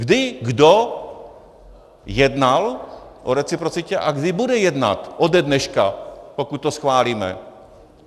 Kdy kdo jednal o reciprocitě a kdy bude jednat ode dneška, pokud to schválíme?